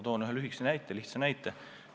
Toon ühe lihtsa näite.